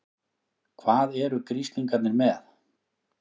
HVAÐ ERU GRISLINGARNIR MEÐ?